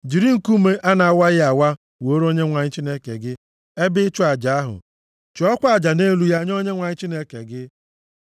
Jiri nkume a na-awaghị awa wuore Onyenwe anyị Chineke gị ebe ịchụ aja ahụ, chụọkwa aja nʼelu ya nye Onyenwe anyị Chineke gị.